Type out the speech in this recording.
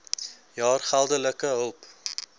jaar geldelike hulp